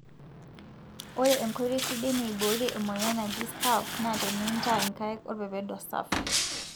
ore enkoitoi sidai niborie emoyian naaji staph na tenintaa nkaik olpependo safi,